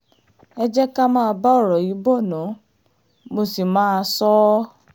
ẹ jẹ́ ká máa bá ọ̀rọ̀ yìí bọ́ ná mo sì máa sọ ọ́